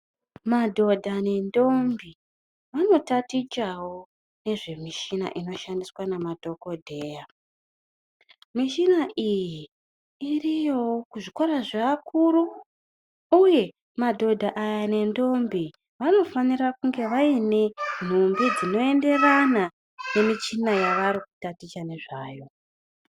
Madhodha nendombi vanotatichavo nezvemichina inoshandiswa namadhogodheya. Michina iyi iriyovo kuzvikora zvevakuru, uye madhodha aya nendombi vanofanira kunge vaine nhumbi dzinenderana nemichina yavari kutaticha nezvayo.